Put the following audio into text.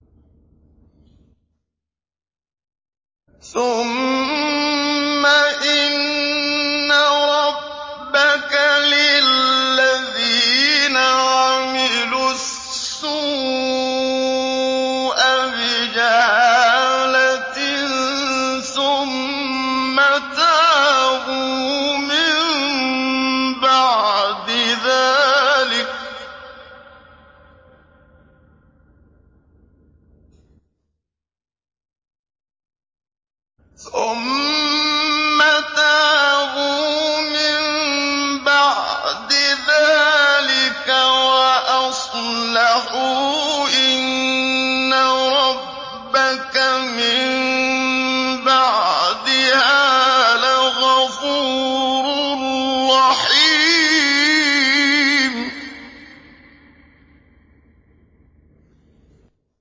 ثُمَّ إِنَّ رَبَّكَ لِلَّذِينَ عَمِلُوا السُّوءَ بِجَهَالَةٍ ثُمَّ تَابُوا مِن بَعْدِ ذَٰلِكَ وَأَصْلَحُوا إِنَّ رَبَّكَ مِن بَعْدِهَا لَغَفُورٌ رَّحِيمٌ